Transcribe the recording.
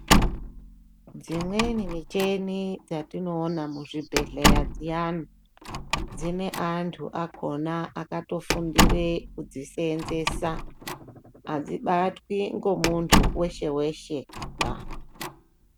Dzimweni michini dzatinoona muzvibhehleya zviyani dzineantu akona akatofundire kudziseenzesa adzibatwi ngomuntu weshe weshe ba